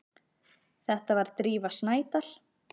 Þetta var Drífa Snædal.